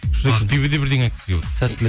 ақбибі де бірдеңе айтқысы келіп отыр сәттілік